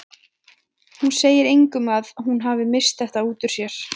Hún segi engum að hún hafi misst þetta út úr sér.